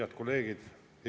Head kolleegid!